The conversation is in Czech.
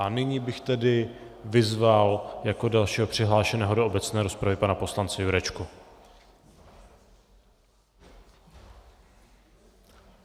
A nyní bych tedy vyzval jako dalšího přihlášeného do obecné rozpravy pana poslance Jurečku.